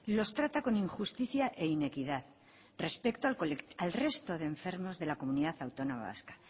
los trata con injusticia e inequidad respecto al resto de enfermos de la comunidad autónoma vasca